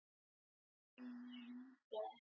Þátttakendur eru nær hundraði